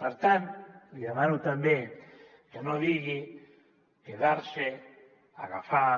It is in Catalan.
per tant li demano també que no digui quedarse agafar